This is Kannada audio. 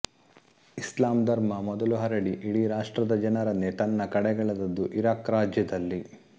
ಇಸ್ಲಾಂ ಧರ್ಮ ಮೊದಲು ಹರಡಿ ಇಡೀ ರಾಷ್ಟ್ರದ ಜನರನ್ನೇ ತನ್ನ ಕಡೆಗೆಳೆದದ್ದು ಇರಾಕ್ ರಾಜ್ಯದಲ್ಲಿ